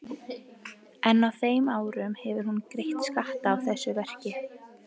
En á þeim árum hefur hún greitt skatta af þessu verki.